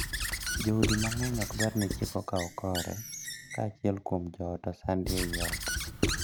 Joodi mang’eny ok dwar ni chik okaw kore ka achiel kuom joot osandi ei ot.